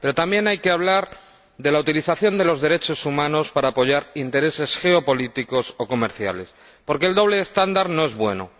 Pero también hay que hablar de la utilización de los derechos humanos para apoyar intereses geopolíticos o comerciales, porque el doble estándar no es bueno.